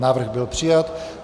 Návrh byl přijat.